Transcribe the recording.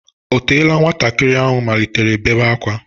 O teela nwantakịrị ahụ malitere bèbé ákwá?